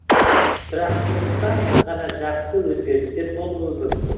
тұрақтылықтан ғана жақсы өзгерістер болуы мүмкін